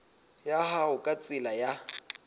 ya hao ka tsela ya